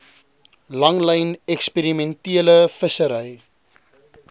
langlyn eksperimentele vissery